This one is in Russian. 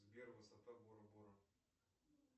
сбер высота бора бора